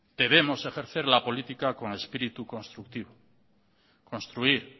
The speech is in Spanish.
debemos ejercer la política con espíritu constructivo construir